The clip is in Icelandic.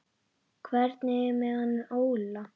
Hvernig er með hann Óla?